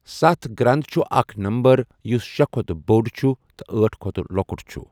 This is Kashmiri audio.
ستھَ گرَٛنٛد چھُ اَکھ نَمبَر یُس شے کھوتہٕ بۆڈ چھُ تہٕ أٹھ کھوتہٕ لوکُٹ چھُ۔